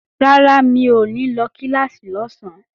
Rárá, mi ò ní lọ kíláàsì lọ́sán